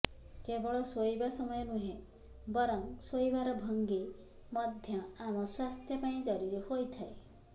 କେବଳ ଶୋଇବା ସମୟ ନୁହେଁ ବରଂ ଶୋଇବାର ଭଙ୍ଗୀ ମଧ୍ୟ ଆମ ସ୍ବାସ୍ଥ୍ୟ ପାଇଁ ଜରୁରୀ ହୋଇଥାଏ